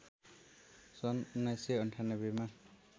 सन् १९९८ मा